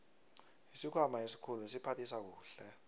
isikhwama esikhulu siphathisa kuhle